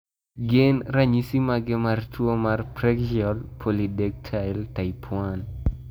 Gin ranyisi mage mar tuo mar Preaxial polydactyly type 1?